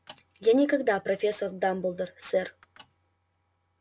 я никогда профессор дамблдор сэр